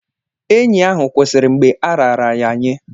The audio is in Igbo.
Enyi ahụ kwụsịrị mgbe a raara ya nye.